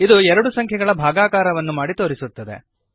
ಇದು ಎರಡು ಸಂಖ್ಯೆಗಳ ಭಾಗಾಕಾರವನ್ನು ಮಾಡಿ ತೋರಿಸುತ್ತದೆ